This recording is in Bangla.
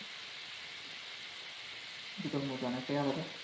দুটোর মধ্যে অনেকটাই আলাদা